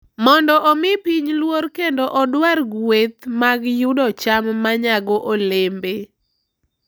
Mondo omi piny luor kendo odwar gueth mag yudo cham ma nyago olembe.